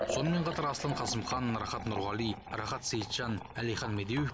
сонымен қатар аслан қасымхан рахат нұрғали рахат сейітжан әлихан медеуов